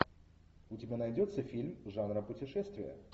у тебя найдется фильм жанра путешествие